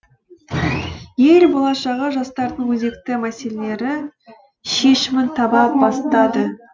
ел болашағы жастардың өзекті мәселелері шешімін таба бастады